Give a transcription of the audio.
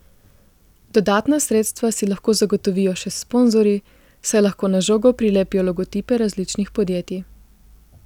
Dodatna sredstva si lahko zagotovijo še s sponzorji, saj lahko na žogo prilepijo logotipe različnih podjetij.